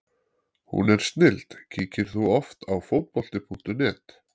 Hún er snilld Kíkir þú oft á Fótbolti.net?